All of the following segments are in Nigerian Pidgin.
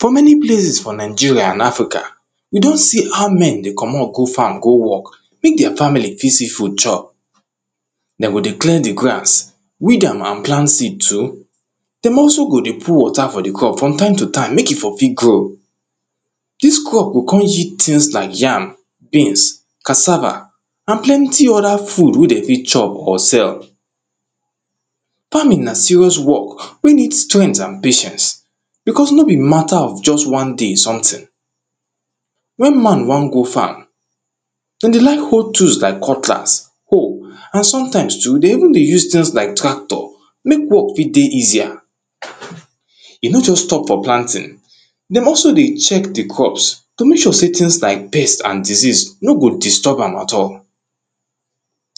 For many place for Nigeria and Africa, we don see how men dey comot go farm go work Make their family fit see food chop. Dem go dey clear di grass weed am and plant seed too. Dem also go dey put water for di crop from time to time make e for fit grow Dis crop go come yield things like yam, beans, cassava and plenty other food wey dem fit chop or sell Farming na serious work, wey need strength and patience because no be matter of just one day something Wen man wan go farm, dem dey like hold tools like cutlass hoe and sometimes too dey even dey use things like tractor make work fit dey easier E no just stop for planting. Dem also dey check di crops to make sure sey things like pest and disease no go disturb at all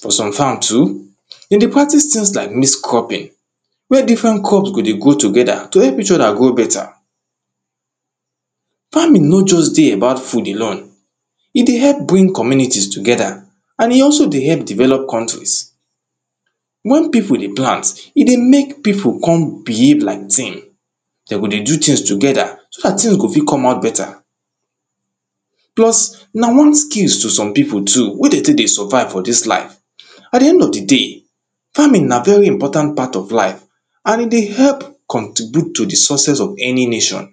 For some farm too, dem dey practice things like mixed cropping wey different crops go dey grow together, to help each other grow better Farming no just dey about food alone. E dey help bring communities together and e also dey help develop countries Wen people dey plant, e dey make people come behave like team Dem go dey do things together, so dat things go fit come out better plus na one skills to some people too wey dem take dey survive for dis life At di end of di day, farming na very important part of life and e dey help contribute to di success of any nation